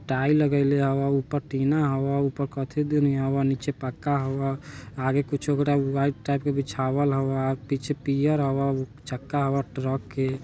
टाई लागईले हवा ऊपर टीना हवा उपर कथि दुनि हवा नीचे पक्का हवा आगे कुछु वाईट टाइप के बीछवाल हवा पीछे पियर हवा ऊ चक्का हवा ट्रक के।